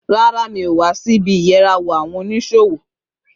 Rárá, mi ò wá sí ibí ìyẹrawò àwọn oníṣòwò